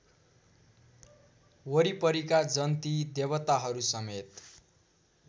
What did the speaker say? वरिपरिका जन्ती देवताहरूसमेत